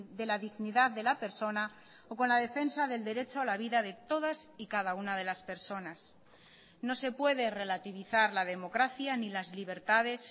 de la dignidad de la persona o con la defensa del derecho a la vida de todas y cada una de las personas no se puede relativizar la democracia ni las libertades